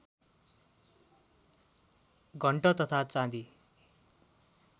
घण्ट तथा चाँदी